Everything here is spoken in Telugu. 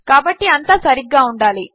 కాబట్టిఅంతాసరిగ్గాఉండాలి